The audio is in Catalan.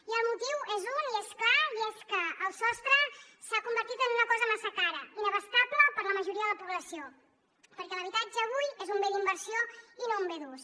i el motiu és un i és clar i és que el sostre s’ha convertit en una cosa massa cara inabastable per a la majoria de la població perquè l’habitatge avui és un bé d’inversió i no un bé d’ús